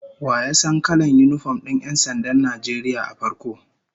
Wa ya san kalan yinifom din 'yan sandan Najeriya a farko?